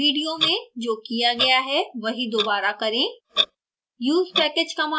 video में जो किया गया है वही दोबारा करें